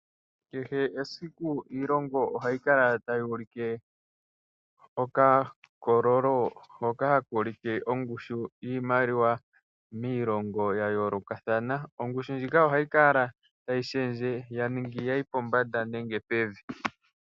Kehe esiku iilongo ohayi kala tayi ulike okakololo hoka haka ulike ongushu yoshimaliwa miilongo a yoolokathana. Ongushu ndjika ohayi kala tayi shendje; ya ningi ya yi pombanda nenge ya yi pevi.